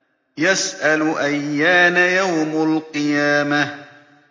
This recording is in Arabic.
يَسْأَلُ أَيَّانَ يَوْمُ الْقِيَامَةِ